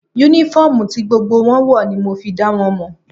Únífọ́ọ̀mù ti gbogbo wọn ń wọ̀ ní mo fi dá wọn mọ̀